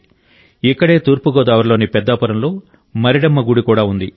ఇక్కడే తూర్పుగోదావరిలోని పెద్దాపురంలో మరిడమ్మ గుడి కూడా ఉంది